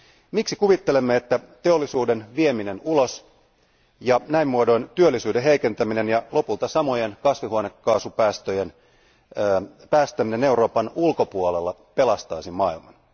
Miksi kuvittelemme, että teollisuuden vieminen ulos ja näin muodoin työllisyyden heikentäminen ja lopulta samojen kasvihuonekaasupäästöjen päästäminen Euroopan ulkopuolella pelastaisi maailman.